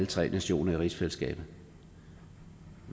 tre nationer i rigsfællesskabet